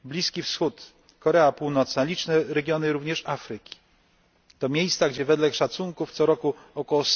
Bliski Wschód, Korea Północna, liczne regiony również Afryki, to miejsca gdzie wedle szacunków co roku ok.